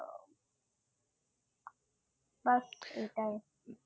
বাস এটাই